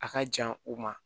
A ka jan u ma